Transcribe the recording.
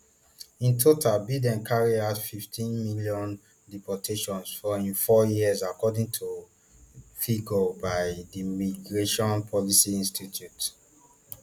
in total biden carry out fifteen million deportations for im four years according to to figures by di migration policy institute